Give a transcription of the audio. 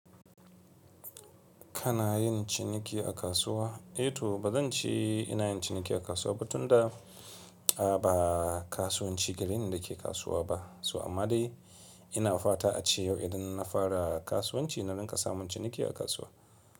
Kana yin ciniki a kasuwa? Eh to ba zan ce ina yin ciniki a kasuwa ba tun da, a ba kasuwanci gari ne da ke kasuwa ba. So amma dai ina fata a ci yau idan na fara kasuwanci na rinƙa samun ciniki a kasuwa.